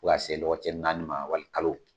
Ka se lɔgɔ cɛ naani ma wali kalo.